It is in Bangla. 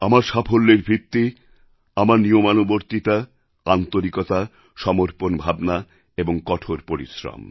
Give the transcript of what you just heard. আমার সাফল্যের ভিত্তি আমার নিয়মানুবর্তিতা আন্তরিকতা সমর্পণ ভাবনা এবং কঠোর পরিশ্রম